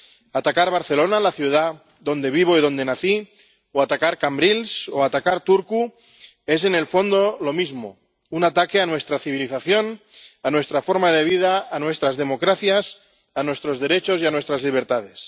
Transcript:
Atacar Barcelona, la ciudad donde vivo y donde nací, o atacar Cambrils o atacar Turku es en el fondo lo mismo un ataque a nuestra civilización, a nuestra forma de vida, a nuestras democracias, a nuestros derechos y a nuestras libertades.